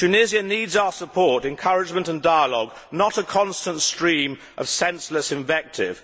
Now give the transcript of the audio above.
Tunisia needs our support, encouragement and dialogue, not a constant stream of senseless invective.